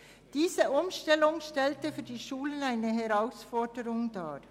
Diese Umstellung stellte für die Schulen eine Herausforderung dar.